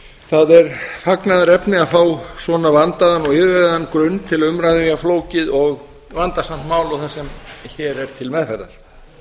það er fagnaðarefni að fá svona vandaðan og yfirvegaðan grunn til umræðu um jafn flókið og vandasamt mál og það sem hér er til meðferðar